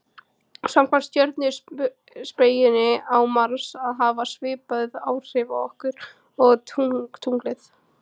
samkvæmt stjörnuspekinni á mars að hafa svipuð áhrif okkur og tunglið